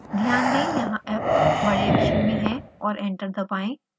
ध्यान दें यहाँ f बड़े अक्षर में है और एंटर दबाएं